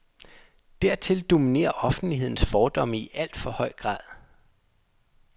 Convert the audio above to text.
Dertil dominerer offentlighedens fordomme i alt for høj grad.